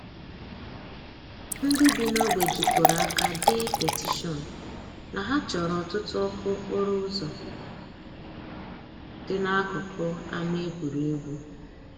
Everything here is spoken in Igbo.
Ndị bi n'ogbe jikọrọ aka dee petishion na ha chọrọ ọtụtụ ọkụ okporo ụzọ dị n'akụkụ ama egwuregwu.